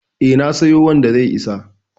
E, na siyo wanda zai isa.